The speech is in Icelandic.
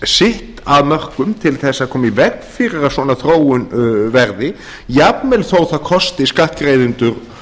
sitt af mörkum til þess að koma í veg fyrir að svona þróun verði jafnvel þó að það kosti skattgreiðendur